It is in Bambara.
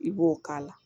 I b'o k'a la